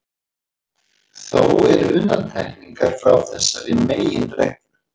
Þó eru undantekningar frá þessari meginreglu.